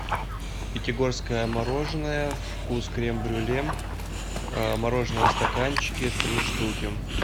пятигорское мороженое вкус крем брюле мороженое в стаканчике три штуки